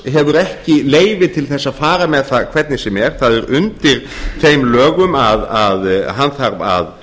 hefur ekki leyfi til þess að fara með það hvernig sem er það er undir þeim lögum að hann þarf að